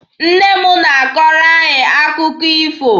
Nne m na-akọrọ anyị akụkọ ifo.